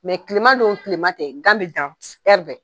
kilema don kilema tɛ gan bɛ dan bɛ